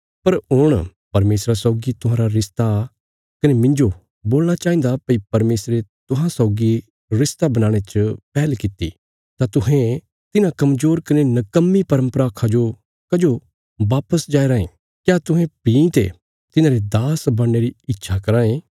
पर हुण परमेशरा सौगी तुहांरा रिश्ता कने मिन्जो बोलणा चाहिन्दा भई परमेशरे तुहां सौगी रिश्ता बनाणे च पैहल कित्ती तां तुहें तिन्हां कमजोर कने नकम्मी परम्परा खा जो कजो वापस जाया राँये क्या तुहें भीं ते तिन्हांरे दास बणने री इच्छा कराँ ये